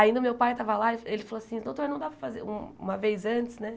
Ainda o meu pai tava lá e ele falou assim, doutor, não dá para fazer um uma vez antes, né?